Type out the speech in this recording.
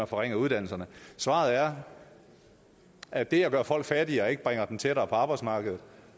forringer uddannelserne svaret er at det at gøre folk fattigere ikke bringer dem tættere på arbejdsmarkedet